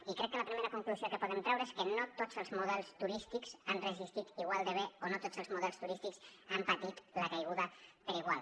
i crec que la primera conclusió que podem treure és que no tots els models turístics han resistit igual de bé o no tots els models turístics han patit la caiguda per igual